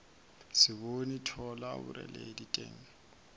se bone thola boreledi teng